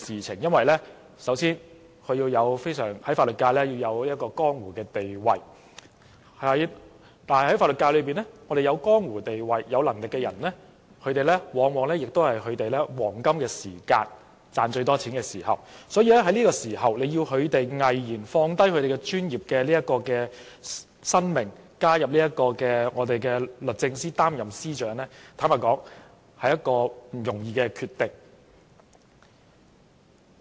首先，這人必須在法律界有江湖地位，而在法律界有江湖地位又有能力的人，往往是處於他們事業的黃金期，最能賺錢的時候，要他們毅然放下事業，加入政府擔任律政司司長，實在是一個不容易的決定。